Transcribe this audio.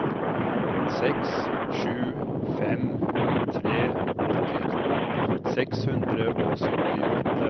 seks sju fem tre åttito seks hundre og syttiåtte